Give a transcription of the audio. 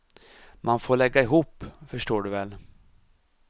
Man får lägga ihop, förstår du väl.